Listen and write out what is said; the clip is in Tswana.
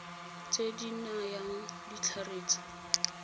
tse di nayang ditlhare tsa